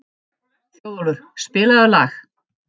Þjóðólfur, spilaðu lag.